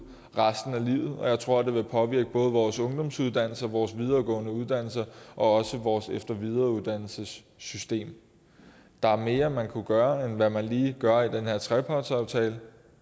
resten af livet og jeg tror at det vil påvirke både vores ungdomsuddannelser vores videregående uddannelser og også vores efter og videreuddannelsessystem der er mere man kunne gøre end hvad man lige gør i den her trepartsaftale